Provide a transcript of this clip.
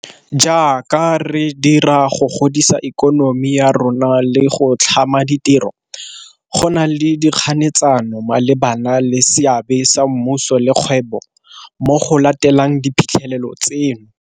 Jaaka re dira go godisa ikonomi ya rona le go tlhama ditiro, go na le dikganetsano malebana le seabe sa mmuso le kgwebo mo go lateleng diphitlhelelo tseno.